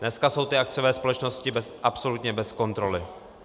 Dneska jsou ty akciové společnosti absolutně bez kontroly.